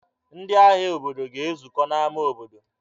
Ndị ahịa obodo ga-ezukọ n'ámá obodo.